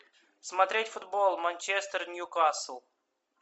смотреть футбол манчестер ньюкасл